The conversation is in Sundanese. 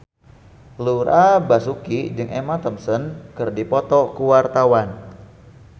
Laura Basuki jeung Emma Thompson keur dipoto ku wartawan